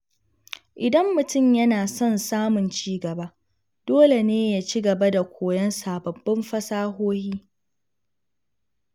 Idan mutum yana son samun ci gaba, dole ne ya ci gaba da koyon sababbin fasahohi.